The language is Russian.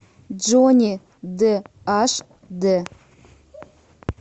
джонни дэ аш дэ